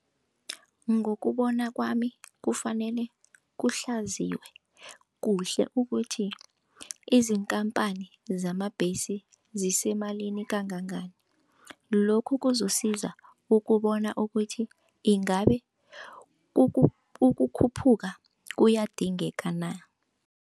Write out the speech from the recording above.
Ngokubona kwami kufanele kuhlaziywe kuhle ukuthi iziinkampani zamabhesi zisemalini kangangani, lokhu kuzokusiza ukubona ukuthi ingabe ukukhuphuka kuyadingeka na.